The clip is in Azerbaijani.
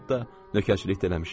Hətta nökərçilik də eləmişəm.